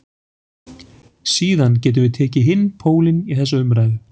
Síðan getum við tekið hinn pólinn í þessa umræðu.